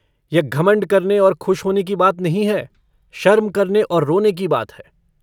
यह घमण्ड करने और खुश होने की बात नहीं है शर्म करने और रोने की बात है।